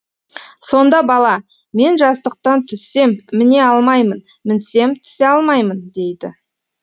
сонда бала мен жастықтан түссем міне алмаймын мінсем түсе алмаймын дейді